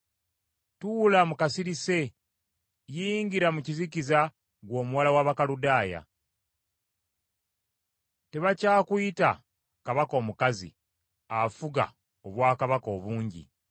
“Tuula mu kasirise yingira mu kizikiza ggwe omuwala w’Abakaludaaya, tebakyakuyita kabaka omukazi afuga obwakabaka obungi.